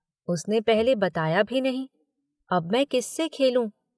उसने पहले बताया भी नहीं। अब मैं किससे खेलू